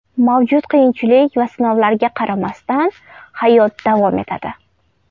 Mavjud qiyinchilik va sinovlarga qaramasdan, hayot davom etadi.